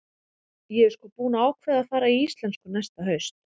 Ég er sko búin að ákveða að fara í íslensku næsta haust.